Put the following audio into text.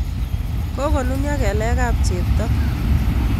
Kokonunyo kelek kab chepto